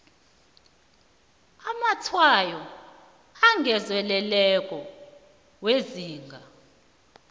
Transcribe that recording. amatshwayo angezelelweko wezinga